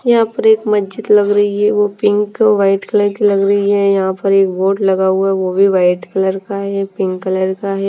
यहाँ पर एक मस्जिद लग रही है वो पिंक व्हाईट कलर की लग रही है यहाँ पर एक बोर्ड लगा हुआ है वो भी व्हाईट कलर का है पिंक कलर का है।